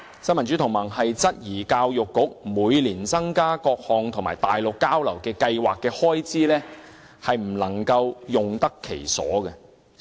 新民主同盟質疑教育局每年增加各項內地交流計劃的開支，未能用得其所。